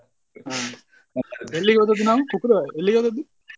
ಹಾ ಎಲ್ಲಿಗ್ಹೋದದ್ದು ನಾವು? ಕುಕ್ಕುರ ಎಲ್ಲಿಗೋದದ್ದು ನಾವು .